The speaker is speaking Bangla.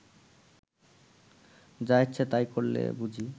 যা ইচ্ছে তাই করলে বুঝি